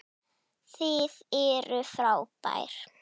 Þið eruð frábær.